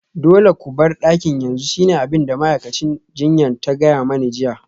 Dole ku bar dakin yanzu shine abin da ma'aikacin jinya ta gaya mani jiya